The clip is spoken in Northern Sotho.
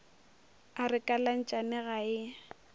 a re kalatšane ga e